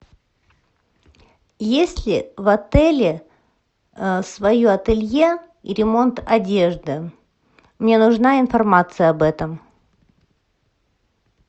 есть ли в отеле свое ателье и ремонт одежды мне нужна информация об этом